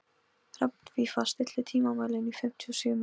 Hrafnfífa, stilltu tímamælinn á fimmtíu og sjö mínútur.